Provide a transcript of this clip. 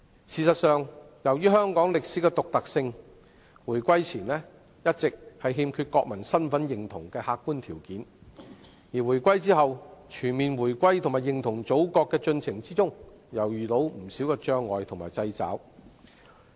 事實上，由於香港在歷史上的獨特性，回歸前一直欠缺國民身份認同的客觀條件；回歸後，在促進全面回歸和認同祖國的進程中又遇到不少障礙和掣肘。